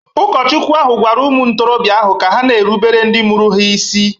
Ụkọchukwu ahụ gwara ụmụ ntorobia ahụ ka ha na-erubere ndị mụrụ ha isi.